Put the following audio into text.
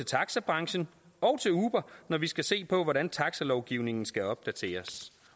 taxabranchen og til uber når vi skal se på hvordan taxalovgivningen skal opdateres